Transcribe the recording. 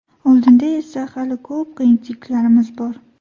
Oldinda esa hali ko‘p qiyinchiliklarimiz bor.